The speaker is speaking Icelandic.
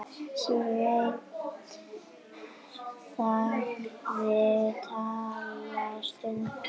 Sveinn þagði litla stund.